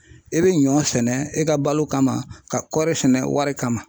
E bɛ ɲɔ sɛnɛ e ka balo kama ka kɔɔri sɛnɛ wari kama.